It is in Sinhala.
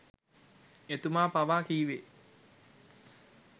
එතුමා පවා කිව්වෙ